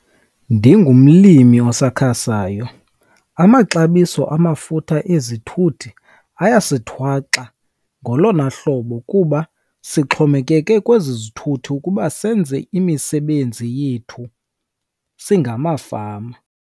Ndingumlimi osakhasayo, amaxabiso amafutha ezithuthi ayasithwaxa ngolona hlobo kuba sixhomekeke kwezi zithuthi ukuba senze imisebenzi yethu singamafama.